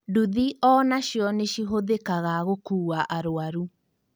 Nduthi onacio nĩcihũthĩkaga gũkua arwaru